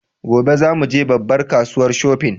Gobe za mu je babbar kasuwa shofin